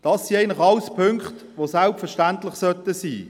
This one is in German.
Das alles sind Punkte, die selbstverständlich sein sollten.